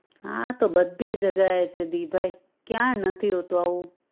હા તો બધી જગાએ છે દીભાઈ ક્યાં નથી હોતું આવું?